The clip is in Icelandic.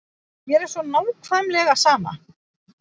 Mér er svo nákvæmlega sama.